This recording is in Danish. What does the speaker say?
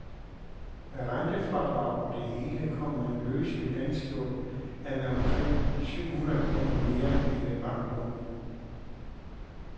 Med rentefradrag og det hele kommer man løseligt anslået af med omkring syv hundrede kroner mere end ved banklån.